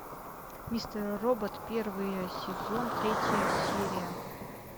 мистер робот первый сезон третья серия